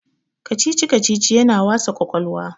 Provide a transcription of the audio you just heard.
kacici- kacici yana wasa kwakwalwa